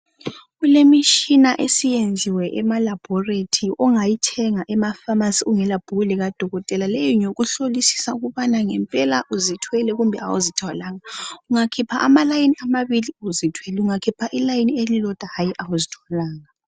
Kulemishina esiyenziwe emalaboriti ongayithenga emaphamasi ungelabhuku likadokotela leyi ngeyokuhlolisisa ukubana ngempela uzithwele kumbe kawuzithwalanga. ungakhipha amalayini amabili uzithwele , ungakhipha illayini elilodwa hayi awuzithwalanga.